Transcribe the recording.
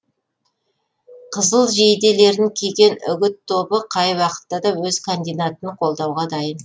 қызыл жейделерін киген үгіт тобы қай уақытта да өз кандидатын қолдауға дайын